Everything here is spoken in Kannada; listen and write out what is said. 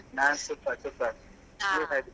ನಾನು super super ನೀವು ಹೇಗಿದ್ದೀರಾ?